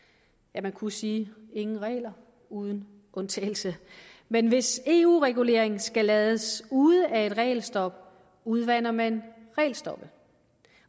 man kunne sige ingen regler uden undtagelse men hvis eu regulering skal lades ude af et regelstop udvander man regelstoppet